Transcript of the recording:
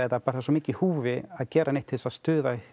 bara svo mikið í húfi að gera neitt til þess að stuða